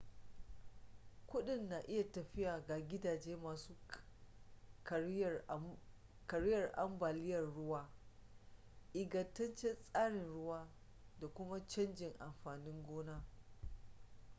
kudin na iya tafiya ga gidaje masu kariyar ambaliyar ruwa ingantaccen tsarin ruwa da kuma canjin amfanin gona